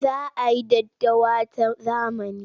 Za a yi daddawa ta zamani.